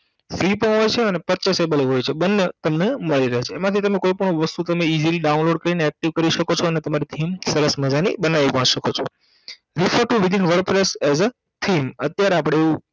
free હોય છે અને purchasable હોય છે બંને તમને મળી રહે છે એમાંથી તમે કોઈ પણ વસ્તુ તમે Easily download કરીને active કરી સકો છો અને તમારી theme સરસ મજાની બનાવી પણ સકો છો